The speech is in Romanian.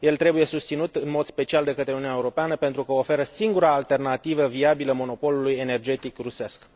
El trebuie susținut în mod special de către Uniunea Europeană pentru că oferă singura alternativă viabilă monopolului energetic rusesc.